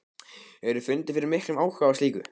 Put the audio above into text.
Hefurðu fundið fyrir miklum áhuga á slíku?